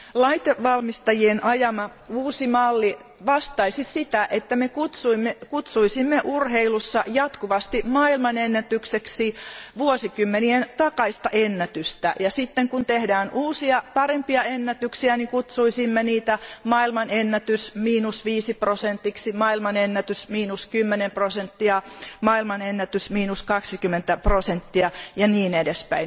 Laitevalmistajien ajama uusi malli vastaisi sitä, että me kutsuisimme urheilussa jatkuvasti maailmanennätykseksi vuosikymmenien takaista ennätystä ja sitten kun tehdään uusia parempia ennätyksiä, kutsuisimme niitä maailmanennätys miinus viisi prosenttia, maailmanennätys miinus kymmenen prosenttia, maailmanennätys miinus kaksikymmentä prosenttia ja niin edelleen.